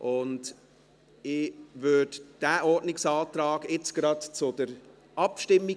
Ich bringe diesen Ordnungsantrag jetzt gleich zur Abstimmung.